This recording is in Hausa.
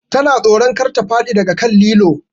Ta na tsoro kar ta faɗi daga kan lilo